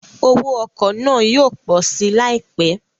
Owó ọkọ̀ náà yóò pọ̀ si láìpẹ́